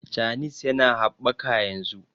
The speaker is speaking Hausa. chanis ya na habbaka yanzu